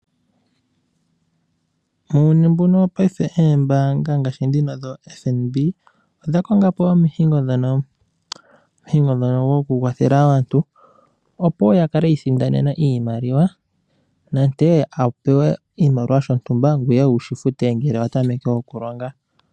Muuyuni mbuno wo paife eembanga ngaashi dhino dhoFNB odha konga po omihigo dhono omihigo dhono dho ku kwathela aantu opo ya kale yiisindanena iimaliwa nante a pewe iimaliwa shotumba ngweye wu shifute ngele wa tameke okulonga.